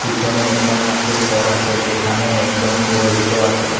পিছনে একতা ঠাকুর ঘর আছে যেখানে একজন পুরোহিতও আছে।